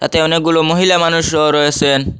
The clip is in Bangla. তে অনেকগুলো মহিলা মানুষও রয়েসেন।